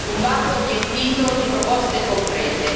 un vaso riempito di proposte concrete.